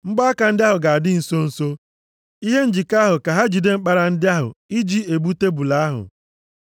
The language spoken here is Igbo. Mgbaaka ndị ahụ ga-adị nso nso, ihe njikọ ahụ ka ha jide mkpara ndị ahụ, i ji ebu tebul ahụ.